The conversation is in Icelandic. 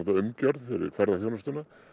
umgjörð fyrir ferðaþjónustu